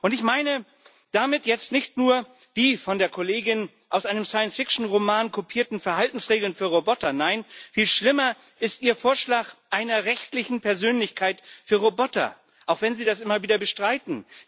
Ich meine damit jetzt nicht nur die von der Kollegin aus einem Science Fiction Roman kopierten Verhaltensregeln für Roboter. Nein, viel schlimmer ist Ihr Vorschlag einer rechtlichen Persönlichkeit für Roboter, auch wenn Sie das immer wieder bestreiten.